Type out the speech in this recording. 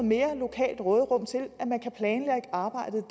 mere lokalt råderum til at man kan planlægge arbejdet